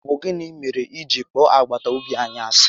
Ọ bụ gịnị mèrè ị ji kpọọ agbataobi anyị ási?